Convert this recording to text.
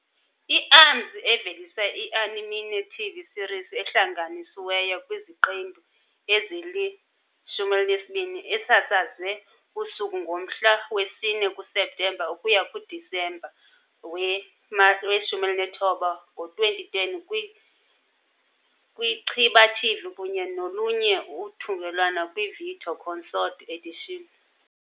I- Arms- eveliswe i -anime TV series ehlanganisiweyo kwiziqendu ezili-12 esasazwe kusuku ngomhla we-4 kuSeptemba ukuya kuDisemba we-19 , ngo-2010 kwi -Chiba TV kunye nolunye uthungelwano kwi-video-consort edition.